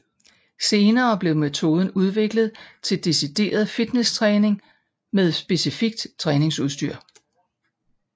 Senere blev metoden udviklet til decideret fitnesstræning med specifikt træningsudstyr